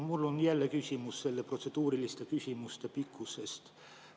Mul on jälle küsimus protseduuriliste küsimuste pikkuse kohta.